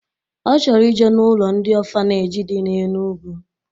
Ọ chọrọ ije n'ụlọ ndị ọfaneji dị na Enugu